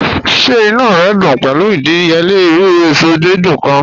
Ṣẹ̀ ìnú rẹ dún pẹ̀lu ìdíyèlẹ̀ irú èṣọ dídùn kan?